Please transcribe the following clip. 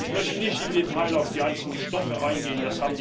Ich möchte nicht im Detail auf die einzelnen Stoffe eingehen